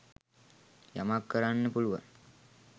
යමක් කරන්න පුළුවන්